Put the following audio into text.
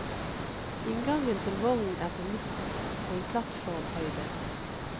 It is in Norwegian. Inngangen til vognen er på midten, og i plattformhøyde.